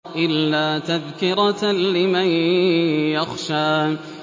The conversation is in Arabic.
إِلَّا تَذْكِرَةً لِّمَن يَخْشَىٰ